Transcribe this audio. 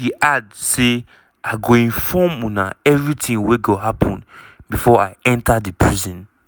she add say "i go inform una everitin wey go happun bifor i enta di prison."